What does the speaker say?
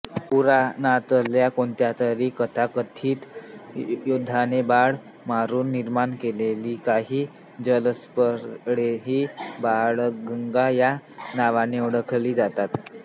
पुराणातल्या कोणत्यातरी तथाकथित योद्ध्याने बाण मारून निर्माण केलेली काही जलस्थळेही बाणगंगा या नावाने ओळखली जातात